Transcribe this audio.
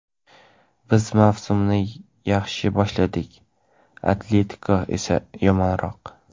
"Biz mavsumni yaxshi boshladik, "Atletiko" esa yomonroq.